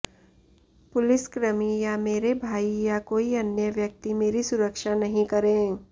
पुलिसक्रमी या मेरे भाई या कोई अन्य व्यक्ति मेरी सुरक्षा नहीं करे